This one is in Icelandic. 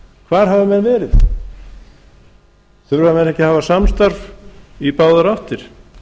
hvar hafa menn verið þurfa menn ekki að hafa samstarf í báðar áttir